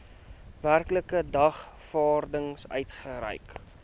werklike dagvaarding uitgereik